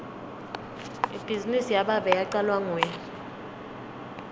ibhizinisi yababe yacalwa nguye